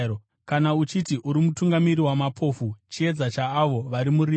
kana uchiti uri mutungamiri wamapofu, chiedza chaavo vari murima,